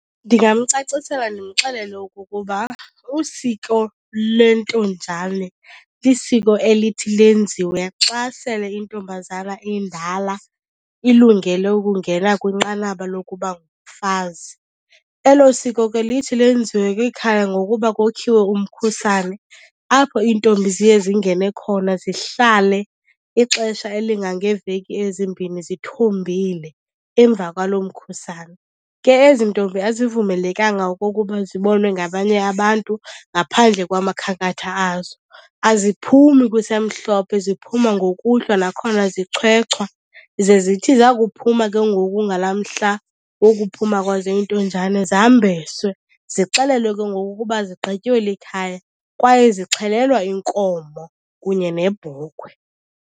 Ndingamcacisela ndimxelele okokuba usiko lentonjane lisiko elithi lenziwe xa sele intombazana indala ilungele ukungena kwinqanaba lokuba ngumfazi. Elo siko ke lithi lenziwe kwikhaya ngokuba kokhiwe umkhusane apho iintombi ziye zingene khona zihlale ixesha elingangeeveki ezimbini zithombile emva kwaloo mkhusane. Ke ezi ntombi azivumelekanga okokuba zibonwe ngabanye abantu ngaphandle kwamakhankatha azo. Aziphumi kusemhlophe ziphuma ngokuhlwa, nakhona zichwechwa. Ze zithi zakuphuma ke ngoku ngalaa mhla wokuphuma kwazo intonjane zambeswe, zixelelwe ke ngoku ukuba zigqityiwe likhaya kwaye zixhelwa inkomo kunye nebhokhwe.